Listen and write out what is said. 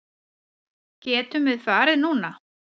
Getum við farið núna?